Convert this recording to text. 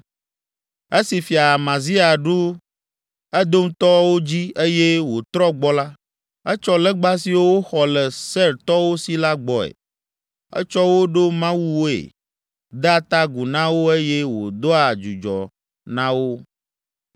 Esi Fia Amazia ɖu Edomtɔwo dzi eye wòtrɔ gbɔ la, etsɔ legba siwo woxɔ le Seirtɔwo si la gbɔe. Etsɔ wo ɖo mawuwoe, dea ta agu na wo eye wòdoa dzudzɔ na wo.